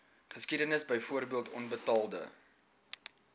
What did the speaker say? geskiedenis byvoorbeeld onbetaalde